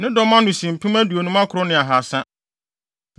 Ne dɔm ano si mpem aduonum akron ne ahaasa (59,300).